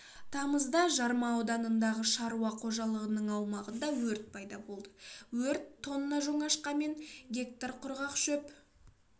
тамызда жарма ауданындағы шаруа қожалығының аумағында өрт пайда болды өрт тонна жоңашқа мен гектар құрғақ шөп